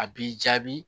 A b'i jaabi